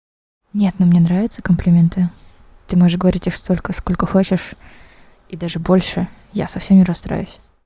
нет но мне нравится комплименты ты можешь говорить их столько сколько хочешь и даже больше я совсем не расстроюсь